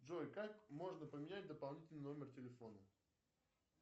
джой как можно поменять дополнительный номер телефона